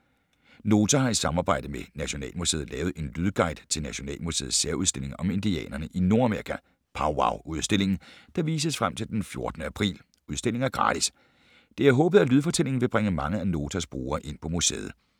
Nota har i samarbejde med Nationalmuseet lavet en lydguide til Nationalmuseets særudstilling om indianerne i Nordamerika, Powwow-udstillingen, der vises frem til den 14. april. Udstillingen er gratis. Det er håbet, at lydfortællingen vil bringe mange af Notas brugere ind på museet: